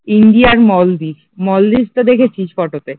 Indian মালদ্বীপ, মালদ্বীপ তো দেখেছিস ফটো তে